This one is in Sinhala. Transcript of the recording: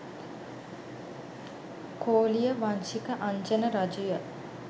කෝලිය වංශික අංජන රජුය.